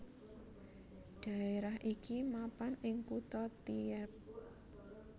Dhaerah iki mapan ing kutha Tierp